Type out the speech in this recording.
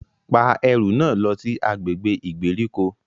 Pa ẹru náà lọ si agbègbè ìgbèríko!